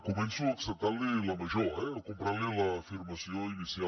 començo acceptant li la major eh o comprant li l’afirmació inicial